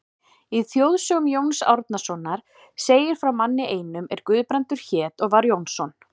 Í þjóðsögum Jóns Árnasonar segir frá manni einum er Guðbrandur hét og var Jónsson.